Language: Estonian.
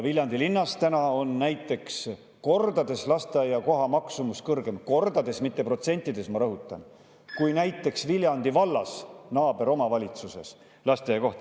Viljandi linnas on näiteks lasteaiakoha maksumus kordades kõrgem – kordades, mitte protsentides, ma rõhutan – kui näiteks Viljandi vallas, naaberomavalitsuses.